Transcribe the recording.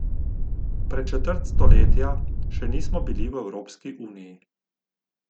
Pred četrt stoletja še nismo bili v Evropski uniji.